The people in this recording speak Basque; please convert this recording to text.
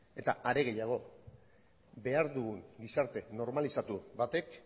eta are gehiago behar dugun gizarte normalizatu batek